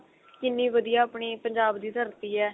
ਕਿੰਨੀ ਵਧੀਆ ਆਪਣੀ ਪੰਜਾਬ ਦੀ ਧਰਤੀ ਏ